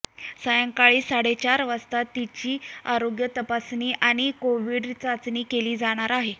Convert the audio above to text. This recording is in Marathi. सायंकाळी साडे चार वाजता तिची आरोग्य तपासणी आणि कोव्हिड चाचणी केली जाणार आहे